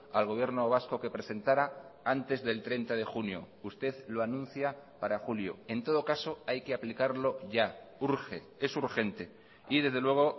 al gobierno vasco que presentara antes del treinta de junio usted lo anuncia para julio en todo caso hay que aplicarlo ya urge es urgente y desde luego